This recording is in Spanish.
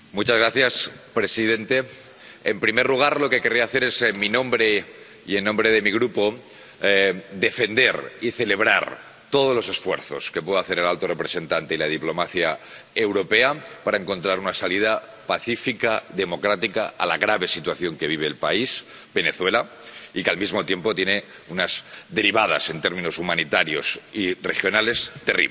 Señor presidente, en primer lugar, lo que querría hacer es, en mi nombre y en nombre de mi Grupo, defender y celebrar todos los esfuerzos que puedan hacer el alto representante y la diplomacia europea para encontrar una salida pacífica, democrática, a la grave situación que vive el país, Venezuela, que, al mismo tiempo, tiene unas derivadas en términos humanitarios y regionales terribles.